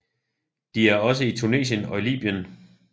De er også i Tunesien og Libyen